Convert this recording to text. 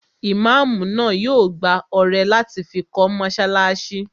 Imáamù náà yóò gbá ọrẹ láti fi kọ́ mọ́sálásí